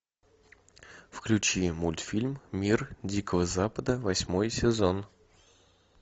включи мультфильм мир дикого запада восьмой сезон